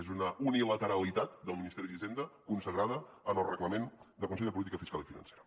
és una unilateralitat del ministeri d’hisenda consagrada en el reglament del consell de política fiscal i financera